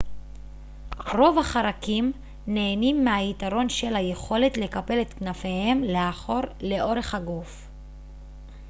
רוב החרקים נהנים מהיתרון של היכולת לקפל את כנפיהם לאחור לאורך הגוף